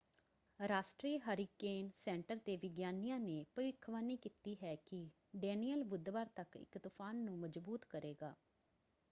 ਰਾਸ਼ਟਰੀ hurricane centre ਦੇ ਵਿਗਿਆਨੀਆਂ ਨੇ ਭਵਿੱਖਬਾਣੀ ਕੀਤੀ ਹੈ ਕਿ ਡੈਨੀਅਲ ਬੁੱਧਵਾਰ ਤੱਕ ਇੱਕ ਤੂਫਾਨ ਨੂੰ ਮਜ਼ਬੂਤ ਕਰੇਗਾ।